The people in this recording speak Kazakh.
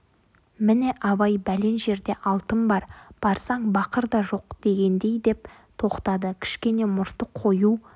міне абай бәлен жерде алтын бар барсаң бақыр да жоқ дегендей деп тоқтады кішкене мұрты қою